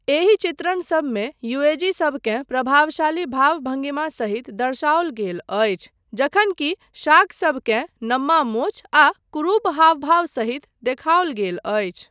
एहि चित्रणसबमे युएजीसबकेँ प्रभावशाली भाव भंगिमा सहित दर्शाओल गेल अछि जखन कि शाकसबकेँ नम्मा मोछ आ कुरूप हावभाव सहित देखाओल गेल अछि।